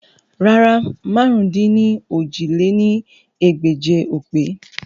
Rárà, màrún-dín-ní-ojì lé ní ẹgbẹ́je o pe